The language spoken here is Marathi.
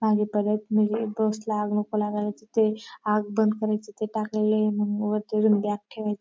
आणि परत म्हणजे बस ला आग नको लागायला तिथे आग बंद करायचं ते टाकलेले मग वरतून बॅग ठेवे --